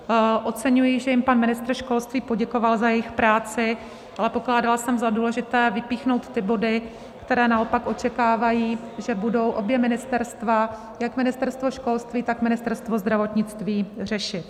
Oceňuji, že jim pan ministr školství poděkoval za jejich práci, ale pokládala jsem za důležité vypíchnout ty body, které naopak očekávají, že budou obě ministerstva, jak Ministerstvo školství, tak Ministerstvo zdravotnictví, řešit.